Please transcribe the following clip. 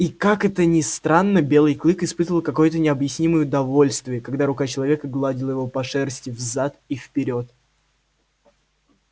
и как это ни странно белый клык испытывал какое-то необъяснимое удовольствие когда рука человека гладила его по шерсти взад и вперёд